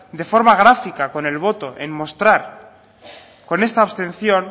de forma gráfica con el voto en mostrar con esta abstención